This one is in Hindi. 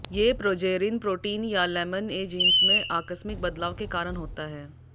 ये प्रोजेरिन प्रोटीन या लैमिन ए जींस में आकस्मिक बदलाव के कारण होता है